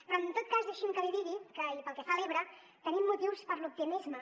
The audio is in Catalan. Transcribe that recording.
però en tot cas deixi’m que li digui i pel que fa a l’ebre que tenim motius per a l’optimisme